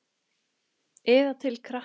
Eða til krakka?